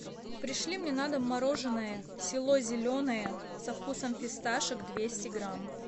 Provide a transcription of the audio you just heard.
пришли мне на дом мороженое село зеленое со вкусом фисташек двести грамм